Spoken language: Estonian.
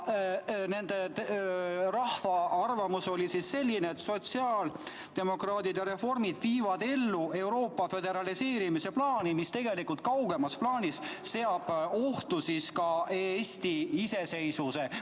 Rahva arvamus oli selline, et sotsiaaldemokraadid ja Reformierakond viivad ellu Euroopa föderaliseerimise plaani, mis kaugemas plaanis seab tegelikult ohtu ka Eesti iseseisvuse.